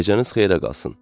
Gecəniz xeyrə qalsın.